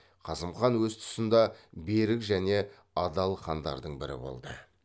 қасым хан өз тұсында берік және адал хандардың бірі болды